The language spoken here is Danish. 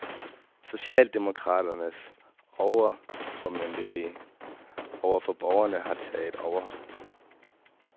Socialdemokraternes overformynderi over for borgerne har taget overhånd.